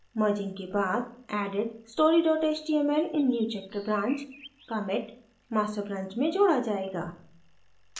merging के बाद added story html in newchapter branch commit master branch में जोड़ा जायेगा